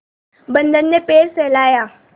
बंदर ने पैर सहलाया